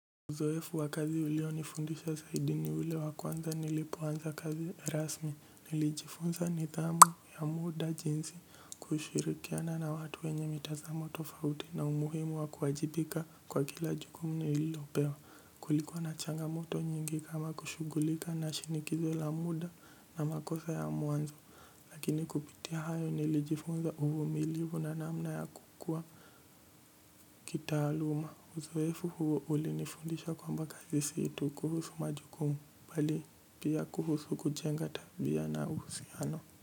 Uzoefu wa kazi ulionifundisha zaidi ni ule wa kwanza nilipoanza kazi rasmi nilijifunza nithamu ya muda jinsi kushirikiana na watu wenye mitazamo tofauti na umuhimu wa kuwajibika kwa kila jukumu nililopewa kulikuwa na changamoto nyingi kama kushugulika na shinikizo la muda na makosa ya mwanzo lakini kupitia hayo nilijifunza uvumilivu na namna ya kukua kitaaluma uzoefu huo ulinifundisha kwamba kazi si tu kuhusu majukumu bali pia kuhusu kujenga tabia na uhusiano.